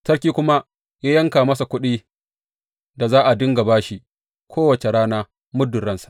Sarki kuma ya yanka masa kuɗin da za a dinga ba shi, kowace rana muddin ransa.